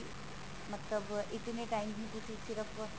ਮਤਲਬ ਇਤਨੇ time ਵੀ ਤੁਸੀਂ ਸਿਰਫ